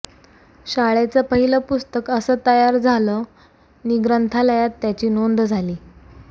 शाळेचं पहिलं पुस्तक असं तयार झालं नि ग्रंथालयात त्याची नोंद झाली